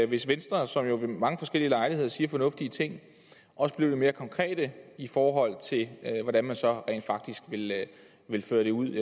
hvis venstre som jo ved mange forskellige lejligheder siger fornuftige ting også blev lidt mere konkrete i forhold til hvordan man så rent faktisk vil føre det ud